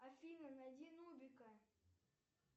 афина найди нубика